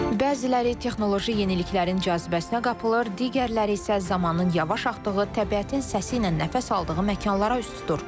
Bəziləri texnoloji yeniliklərin cazibəsinə qapılır, digərləri isə zamanın yavaş axdığı, təbiətin səsi ilə nəfəs aldığı məkanlara üz tutur.